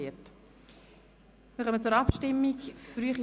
Wir kommen zur Abstimmung über die Motion «